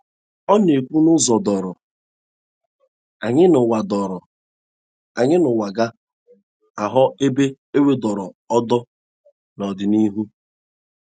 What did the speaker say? Ọna - ekwu n'ụzo doro anya n'ụwa doro anya n'ụwa ga - aghọ ebe ewudoro ụdo n’ọdịnihu